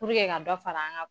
Puruke ka dɔ fara an ka